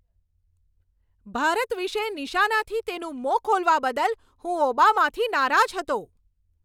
ભારત વિશે નિશાનાથી તેનું મોં ખોલવા બદલ હું ઓબામાથી નારાજ હતો.